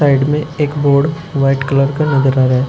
Side में एक board white colour का नजर आ रहा है।